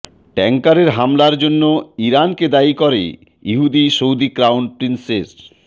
ট্যাংকারে হামলার জন্য ইরানকে দায়ী করে হুমকি সৌদি ক্রাউন প্রিন্সের